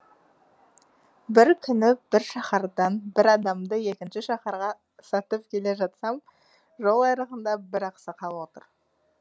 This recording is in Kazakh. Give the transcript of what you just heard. бір күні бір шаһардан бір адамды екінші шаһарға сатып келе жатсам жол айрығында бір ақсақал отыр